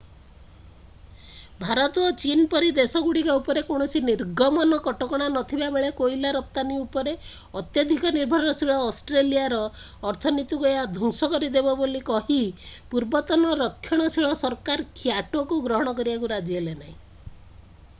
ଭାରତ ଓ ଚୀନ ପରି ଦେଶଗୁଡ଼ିକ ଉପରେ କୌଣସି ନିର୍ଗମନ କଟକଣା ନଥିବା ବେଳେ କୋଇଲା ରପ୍ତାନୀ ଉପରେ ଅତ୍ୟଧିକ ନିର୍ଭରଶୀଳ ଅଷ୍ଟ୍ରେଲିଆର ଅର୍ଥନୀତିକୁ ଏହା ଧ୍ୱଂସ କରିଦେବ ବୋଲି କହି ପୂର୍ବତନ ରକ୍ଷଣଶୀଳ ସରକାର କ୍ୟୋଟୋକୁ ଗ୍ରହଣ କରିବାକୁ ରାଜି ହେଲେ ନାହିଁ